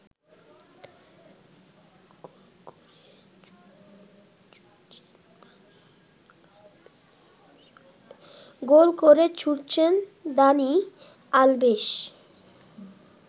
গোল করে ছুটছেন Dani Alves